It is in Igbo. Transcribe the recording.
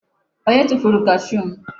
Onye tufuru kashuu m?